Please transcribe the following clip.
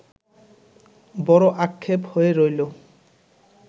বড় আক্ষেপ হয়ে রইলো